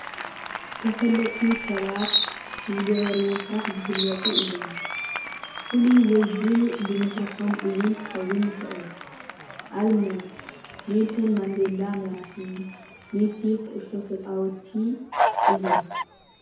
ተፈለጥቲ ሰባት ዝገበርዎ ስራሕ ዝፍለጡ እዮም። ፍሉይ ወይ ብሉፅ ብምስርሓም እውን ክከውን ይክእል። ኣብነት ንልሰን ማንደላ መራሒ መሲ ኩዕሶ ተጫወቲ እዮም።